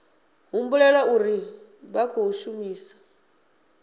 humbulela uri vha khou shumisa